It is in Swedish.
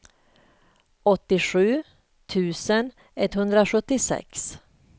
åttiosju tusen etthundrasjuttiosex